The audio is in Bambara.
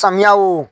Samiya o